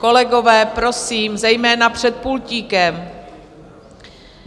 Kolegové, prosím, zejména před pultíkem!